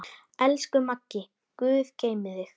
Elsku Maggi, guð geymi þig.